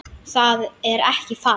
Það er ekki falt